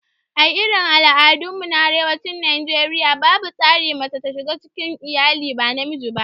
A irin al'adun mu na arewacin Najeriaya, babu tsarin mace ta zama shuga cikin iyalai ba namiji ba